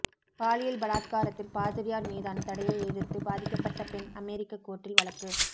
பாலியல் பலாத்காரத்தில் பாதிரியார் மீதான தடையை எதிர்த்து பாதிக்கப்பட்ட பெண் அமெரிக்க கோர்ட்டில் வழக்கு